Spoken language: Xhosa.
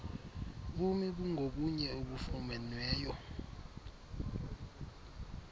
bumi bungobunye obufunyenweyo